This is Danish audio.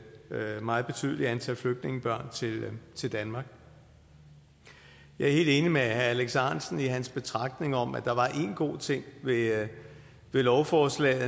meget betydeligt antal flygtningebørn til danmark jeg er helt enig med herre alex ahrendtsen i hans betragtninger om at der var én god ting ved lovforslaget